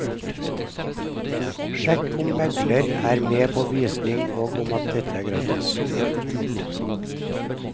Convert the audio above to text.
Sjekk om megler er med på visning og om dette er gratis.